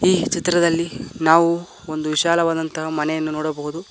ಈ ಚಿತ್ರದಲ್ಲಿ ನಾವು ಒಂದು ವಿಶಾಲವಾದಂತಹ ಮನೆಯನ್ನು ನೋಡಬಹುದು.